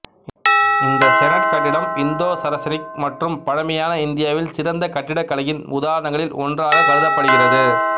இந்த செனட் கட்டிடம் இந்தோசரசெனிக் மற்றும் பழமையான இந்தியாவில் சிறந்த கட்டிடக்கலையின் உதாரணங்களில் ஒன்றாக கருதப்படுகிறது